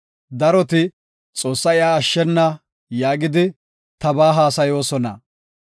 Daroti, “Xoossay iya ashshena” yaagidi, tabaa haasayoosona. Salah